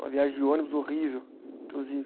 Uma viagem de ônibus horrível, inclusive.